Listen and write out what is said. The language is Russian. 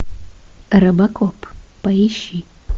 робокоп поищи